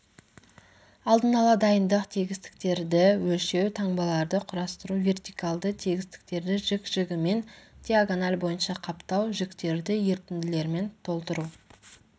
алдын ала дайындық тегістіктерді өлшеу таңбаларды құрастыру вертикалды тегістіктерді жік-жігімен диагональ бойынша қаптау жіктерді ерітінділермен толтыру